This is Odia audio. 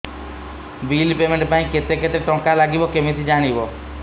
ବିଲ୍ ପେମେଣ୍ଟ ପାଇଁ କେତେ କେତେ ଟଙ୍କା ଲାଗିବ କେମିତି ଜାଣିବି